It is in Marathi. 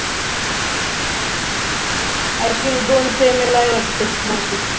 I think दोनशे ml आहे वाटतय बहुतेक